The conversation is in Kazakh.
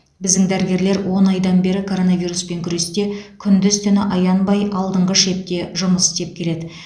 біздің дәрігерлер он айдан бері коронавируспен күресте күндіз түні аянбай алдыңғы шепте жұмыс істеп келеді